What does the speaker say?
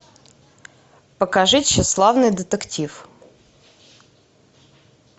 покажи тщеславный детектив